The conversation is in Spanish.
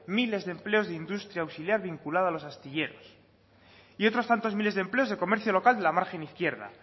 miles de empleos de industria auxiliar vinculado a los astilleros y otros tantos miles de empleos de comercio local de la margen izquierda